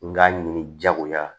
N k'a ɲini jagoya la